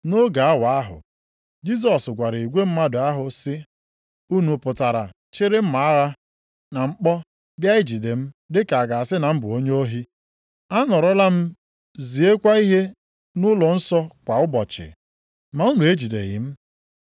Nʼoge awa ahụ, Jisọs gwara igwe mmadụ ahụ sị, “Unu pụtara chịrị mma agha na mkpọ bịa ijide m dị ka a ga-asị na m bụ onye ohi? Anọrọla m ziekwa ihe nʼụlọnsọ kwa ụbọchị, ma unu ejideghị m.